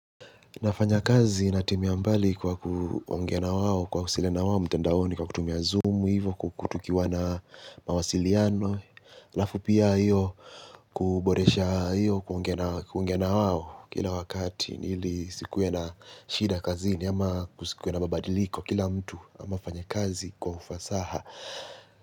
Nafanya kazi natimia mbali kwa kuongea nawao kuwasiliana na wao mtandaoni kwa kutumia zoom hivyo tukiwa na mawasiliano ALafu pia hiyo kuboresha hiyo kuongena wao kila wakati ili isikuwe na shida kazini ama kusikuwe na mabadiliko kila mtu amefanya kazi kwa ufasaha.